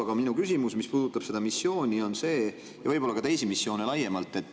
Aga minu küsimus puudutab seda missiooni ja võib-olla ka teisi missioone laiemalt.